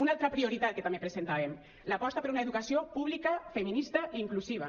una altra prioritat que també presentàvem l’aposta per una educació pública feminista i inclusiva